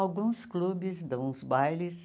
Alguns clubes dão os bailes,